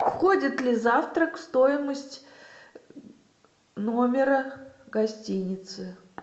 входит ли завтрак в стоимость номера гостиницы